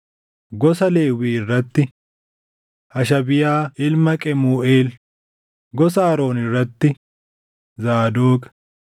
gosa Lewwii irratti: Hashabiyaa ilma Qemuuʼeel; gosa Aroon irratti: Zaadoq;